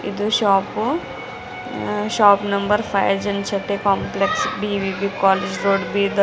ಇದು shop shop number five ಜಾಬಶೆತ್ತ್ಯ್ complex B V B college road Bidar--